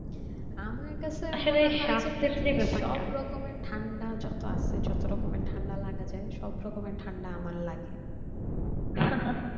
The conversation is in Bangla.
সব রকমের ঠান্ডা যত আছে যত রকমের ঠান্ডা লাগা যাই সব রকমের ঠান্ডা আমার লাগে